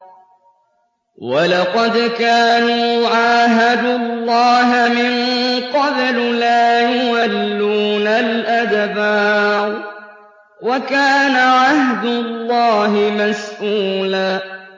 وَلَقَدْ كَانُوا عَاهَدُوا اللَّهَ مِن قَبْلُ لَا يُوَلُّونَ الْأَدْبَارَ ۚ وَكَانَ عَهْدُ اللَّهِ مَسْئُولًا